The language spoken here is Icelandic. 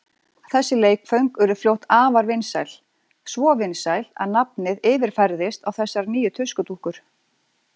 Þessi leikföng urðu fljótt afar vinsæl, svo vinsæl að nafnið yfirfærðist á þessar nýju tuskudúkkur.